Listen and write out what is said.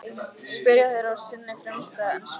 spyrja þeir á sinni frumstæðu ensku.